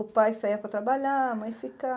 O pai saia para trabalhar, a mãe